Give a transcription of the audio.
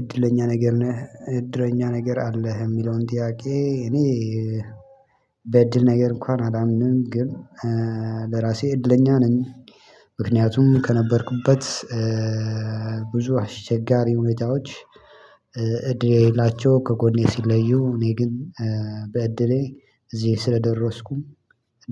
እድለኛ ነገር ነህ እድለኛ ነገር አለህ የሚለውን ጥያቄ? እኔ በእድል ነገር እንኳን አላምንም ግን ለራሴ እድለኛ ነኝ። ምክንያቱም ከነበርኩበት ብዙ አስቸጋሪ ሁኔታዎች። እድል የሌላቸው ከጎኔ ሲለዩ እኔ ግን በእድሌ እዚህ ስለደረስኩም